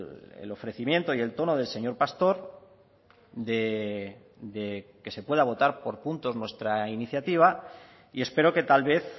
el ofrecimiento y el tono del señor pastor de que se pueda votar por puntos nuestra iniciativa y espero que tal vez